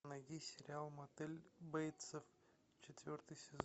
найди сериал мотель бейтсов четвертый сезон